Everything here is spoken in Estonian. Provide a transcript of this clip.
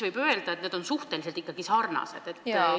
Võib öelda, et need on ikkagi suhteliselt sarnased asjad.